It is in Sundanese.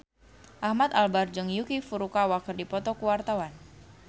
Ahmad Albar jeung Yuki Furukawa keur dipoto ku wartawan